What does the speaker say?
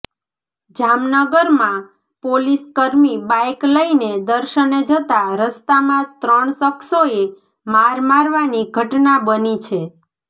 જામનગરમાં પોલીસ કર્મી બાઇક લઈને દર્શને જતા રસ્તામાં ત્રણ શખ્સોએ માર મારવાની ઘટના બની છે